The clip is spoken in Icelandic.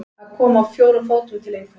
Að koma á fjórum fótum til einhvers